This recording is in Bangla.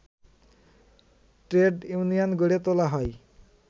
ট্রেড ইউনিয়ন গড়ে তোলা হয়